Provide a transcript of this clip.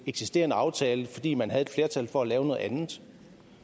eksisterende aftale fordi man havde et flertal for at lave noget andet